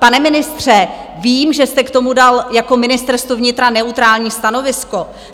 Pane ministře, vím, že jste k tomu dal jako Ministerstvo vnitra neutrální stanovisko.